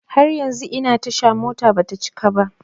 Har yanzu ina tasha, motar bata cika ba.